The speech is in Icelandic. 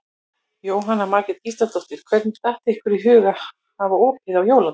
Jóhanna Margrét Gísladóttir: Hvernig datt ykkur í hug að hafa opið á jóladag?